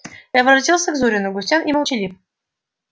я возвратился к зурину грустён и молчалив